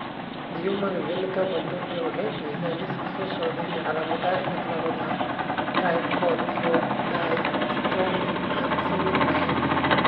The Human Phenotype Ontology waxay bixisaa liiska soo socda ee calaamadaha iyo calaamadaha Trichothiodystrophy aan sawir lahayn.